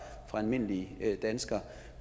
almindelige danskere